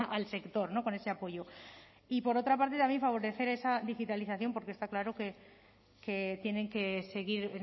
al sector con ese apoyo y por otra parte también favorecer esa digitalización porque está claro que tienen que seguir